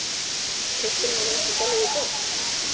Keyptirðu hana ekki í Gallerí Borg?